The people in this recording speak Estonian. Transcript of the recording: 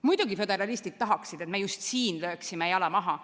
Muidugi, föderalistid tahaksid, et me just siin lööksime jala maha.